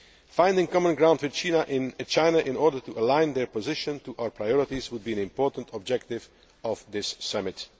Finding common ground with China in order to align their position to our priorities would be an important objective of this summit.